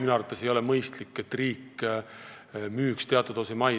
Minu arvates ei ole mõistlik see, et riik müüb teatud osa maid.